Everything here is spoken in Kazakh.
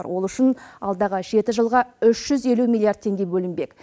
ол үшін алдағы жеті жылға үш жүз елу миллиард теңге бөлінбек